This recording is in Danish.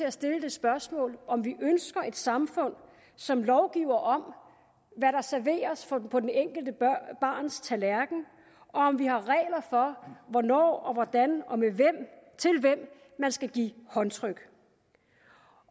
at stille det spørgsmål om vi ønsker et samfund som lovgiver om hvad der serveres på det enkelte barns tallerken og om vi har regler for hvornår og hvordan og hvem man skal give håndtryk